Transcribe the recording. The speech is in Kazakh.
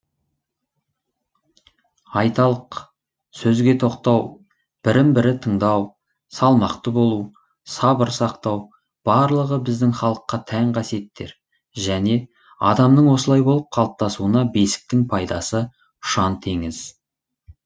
айталық сөзге тоқтау бірін бірі тыңдау салмақты болу сабыр сақтау барлығы біздің халыққа тән қасиеттер және адамның осылай болып қалыптасуына бесіктің пайдасы ұшан теңіз